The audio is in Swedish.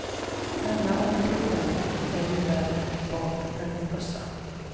Penna och mikrofon är ju värre vapen än en bössa.